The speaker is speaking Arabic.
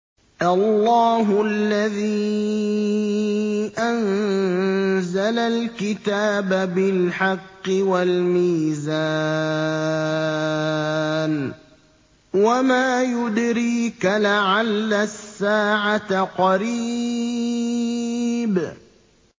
اللَّهُ الَّذِي أَنزَلَ الْكِتَابَ بِالْحَقِّ وَالْمِيزَانَ ۗ وَمَا يُدْرِيكَ لَعَلَّ السَّاعَةَ قَرِيبٌ